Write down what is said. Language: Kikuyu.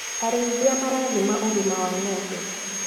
Arĩithia marathima ũgima wa ngombe.